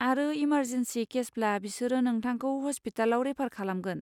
आरो इमारजेनसि केसब्ला बिसोरो नोंथांखौ हस्पिटालआव रेफार खालामगोन।